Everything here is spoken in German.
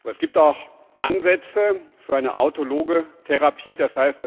Es gibt aber auch Ansätze für eine autologe Therapie, d.